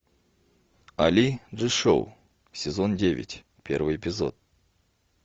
али джи шоу сезон девять первый эпизод